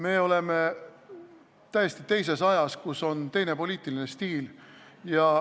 Me elame täiesti teises ajas, kus on teine poliitiline stiil.